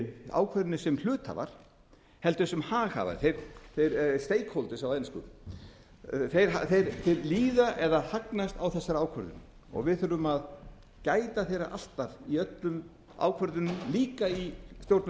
ákvæðinu sem hluthafar heldur sem haghafar á ensku þeir líða eða hagnast á þessari ákvörðun og við þurfum að gæta þeirra alltaf í öllum ákvörðunum líka í stjórnum